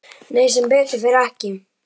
Nei, sem betur fer ekki.